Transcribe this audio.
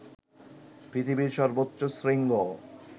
পৃথিবীর সর্বোচ্চ শৃঙ্গ